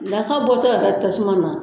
Nafa bɔtɔ yɛrɛ tasuma na.